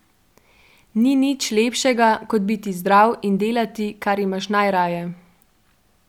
Ni nič lepšega kot biti zdrav in delati, kar imaš najraje.